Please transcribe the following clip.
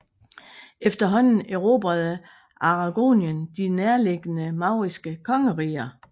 Efterhånden erobrede Aragonien de nærliggende mauriske kongeriger